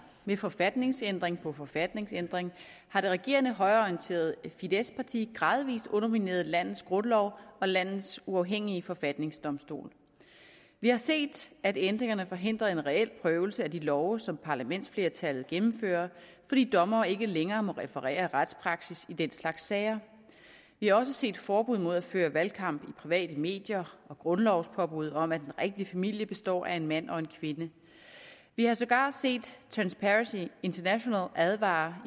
ved forfatningsændring på forfatningsændring har det regerende højreorienterede fideszparti gradvis undermineret landets grundlov og landets uafhængige forfatningsdomstol vi har set at ændringerne forhindrer en reel prøvelse af de love som parlamentsflertallet gennemfører fordi dommere ikke længere må referere retspraksis i den slags sager vi har også set forbud mod at føre valgkamp i private medier og grundlovspåbud om at en rigtig familie består af en mand og en kvinde vi har sågar set transparency international advare